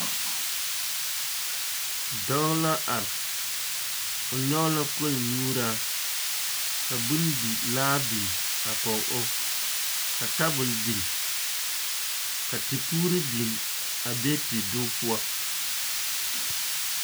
Dɔɔ la are, o nyɔge la kolnyuuraa ka bondi laa biŋ a kɔge o ka tabol biŋ ka tepuuri biŋ, a bee tedoge poɔ.